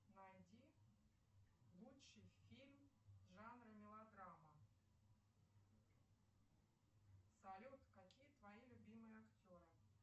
найди лучший фильм жанра мелодрама салют какие твои любимые актеры